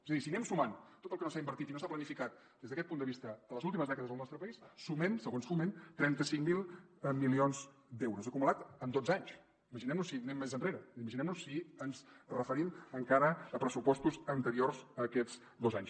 és a dir si anem sumant tot el que no s’ha invertit i no s’ha planificat des d’aquest punt de vista a les últimes dècades al nostre país sumem segons foment trenta cinc mil milions d’euros acumulats en dotze anys imaginem nos si anem més enrere imaginem nos si ens referim encara a pressupostos anteriors a aquests dotze anys